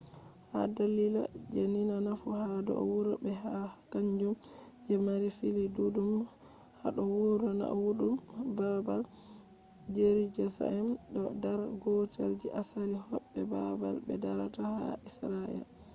ha dalila je dina nafu ha do wuro be ha kanjum je mari fili dudum hado wuro naiwudum babal jerusaem do dar gotel je asali hobbe babal be darata ha israel